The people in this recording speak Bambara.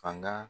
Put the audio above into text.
Fanga